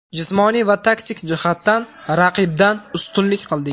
Jismoniy va taktik jihatdan raqibdan ustunlik qildik.